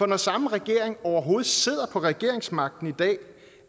den samme regering overhovedet sidder på regeringsmagten i dag